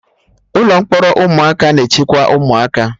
Ụlọ mkpọrọ ụmụaka na-echekwa ụmụaka